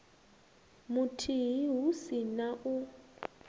muthihi hu si na u